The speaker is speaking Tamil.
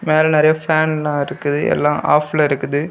மேல நெறைய ஃப்பேன் எல்லா இருக்குது எல்லா ஆஃப்ல இருக்குது.